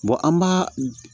an b'a